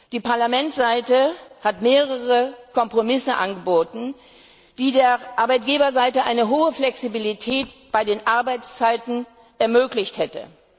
Die Parlamentsseite hat mehrere Kompromisse angeboten, die der Arbeitgeberseite eine hohe Flexibilität bei den Arbeitszeiten ermöglicht hätte.